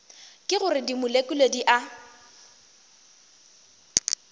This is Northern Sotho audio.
ke gore dimolekule di a